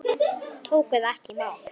Tóku það ekki í mál.